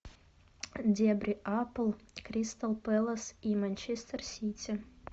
дерби апл кристал пэлас и манчестер сити